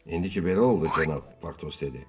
İndi ki belə oldu, cənab Portos dedi.